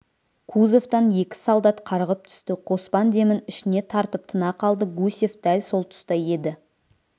кузовтан екі солдат қарғып түсті қоспан демін ішіне тартып тына қалды гусев дәл сол тұста еді